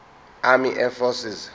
army air forces